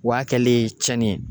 O y'a kɛlen ye cɛnni ye